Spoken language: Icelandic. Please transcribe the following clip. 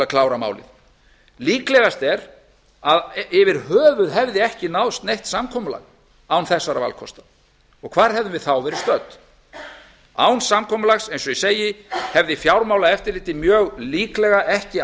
að klára málið líklegast er að yfir höfuð hefði ekki náðst neitt samkomulag án þessara valkosta og hvar hefðum við þá verið stödd án samkomulags eins og ég segi hefði fjármálaeftirlitið mjög líklega ekki